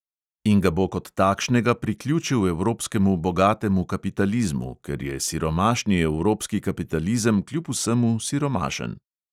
In ga bo kot takšnega priključil evropskemu bogatemu kapitalizmu, ker je siromašni evropski kapitalizem kljub vsemu siromašen.